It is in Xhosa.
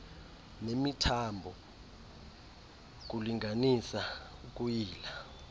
nemithambo ukulinganisa ukuyila